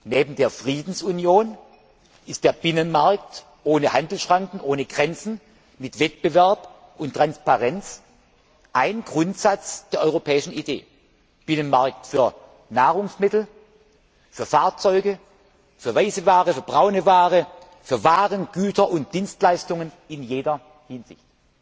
Neben der Friedensunion ist der Binnenmarkt ohne Handelsschranken, ohne Grenzen, mit Wettbewerb und Transparenz ein Grundsatz der europäischen Idee Binnenmarkt für Nahrungsmittel, für Fahrzeuge, für weiße Ware, für braune Ware, für Waren, Güter und Dienstleistungen in jeder Hinsicht.